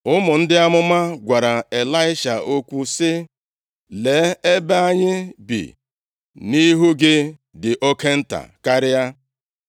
Ụmụ ndị amụma gwara Ịlaisha okwu sị, “Lee, ebe a anyị bi nʼihu gị dị oke nta karịa.